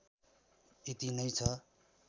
यति नै छ